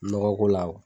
Nɔgɔ ko la